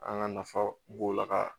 An ka nafa b'o la ka